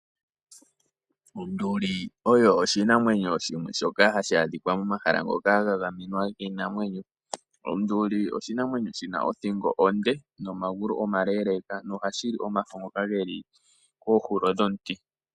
Onduli oyo oshinamwenyo shimwe shoka hashi adhika momahala ngoka ga gamenwa giinamwenyo. Onduli oshinamwenyo shina othingo onde, nomagulu omaleeleka, noha shili omafo ngoka geli kohulo yomuti.